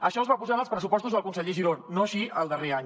això es va posar en els pressupostos del conseller giró no així el darrer any